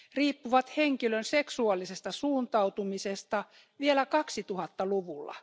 riippuvat henkilön seksuaalisesta suuntautumisesta vielä 2000 luvulla.